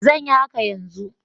Zan yi haka yanzu.